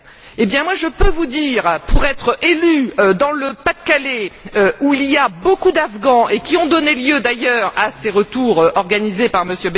Eh bien, moi, je peux vous dire, pour être élue dans le Pas de Calais, où il y a beaucoup d'Afghans et qui ont donné lieu d'ailleurs à ces retours organisés par M.